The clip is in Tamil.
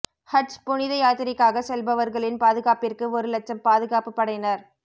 ஹஜ் புனித யாத்திரைக்காக செல்பவர்களின் பாதுகாப்பிற்கு ஒரு இலட்சம் பாதுகாப்பு படையினர்